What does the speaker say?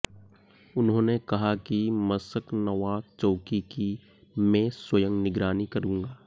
उन्होंने कहा कि मसकनवा चौकी की मैं स्वंय निगरानी करूँगा